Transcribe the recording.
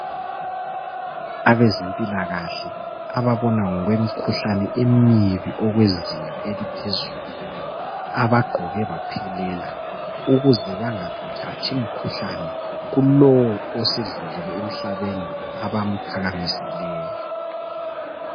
Abezempilakahle ababona ngokwemikhuhlane emibi okwezinga eliphezulu abagqoke baphelela ukuze bangathathi imikhuhlane kulowo osedlulile emhlabeni abamphakamisileyo